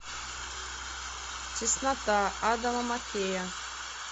теснота адама маккея